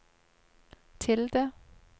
tilde